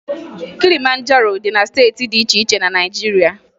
Kilimanjaro dị na steeti dị iche iche na Naịjirịa